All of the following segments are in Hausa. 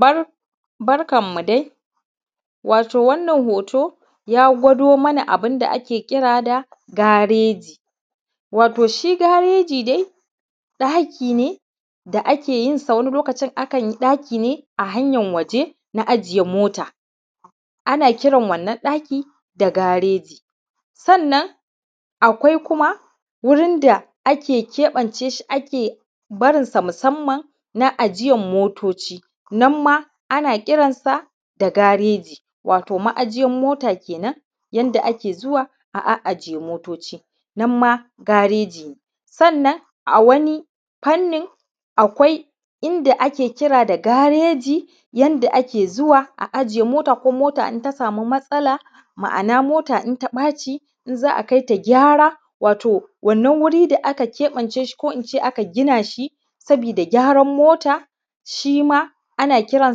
Bar barkan mu dai wato wannan hoto ya gwado mana abun da ake kira da gareji watau shi gareji dai ɗaki ne da ake yin sa wani lokacin akan yi ɗaki ne a hanyan waje na ajiye mota, ana kiran wannan ɗaki da gareji sannan akwai kuma wurin da ake keɓance ski ake barinsa musamman na ajiyan motoci nan ma ana kiran sa da gareji watau ma`ajiyan mota kenan yanda ake zuwa a ajiye motoci nan ma gareji ne sannan a wani fannin akwai inda ake kira da gareji yanda ake zuwa a ajiye mota ko mota in ta sami matsala, ma`ana mota in ta ɓaci in za a kai ta gyara wato wannan wuri da aka keɓance shi ko aka gina shi sabida gyaran mota shi ma ana kiran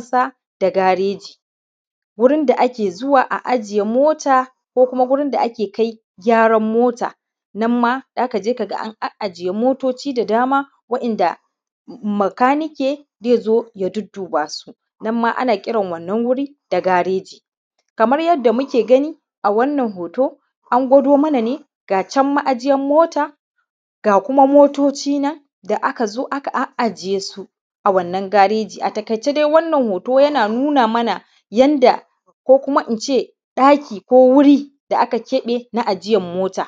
sa da gareji, wurin da kae zuwa a ajiye mota ko kuma gurin da ake kai gyaran mota nan ma zaka je ka ga an ajiye motoci da dama wa`yanda bakanike zai zo ya dudduba su nan ma ana kiran wannan wurin da gareji kamar yadda muke gani a wannan hoto an gwado mana ne ga can ma`ajiyan mota ga kuma motoci nan da aka zo aka a ajiye su a wannan gareji a taƙaice dai wannan hoto yana nuna mana yanda ko kuma ince ɗaki ko wuri da aka keɓe na ajiyan mota